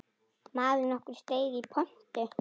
Maður nokkur steig í pontu.